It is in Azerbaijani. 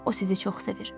O sizi çox sevir.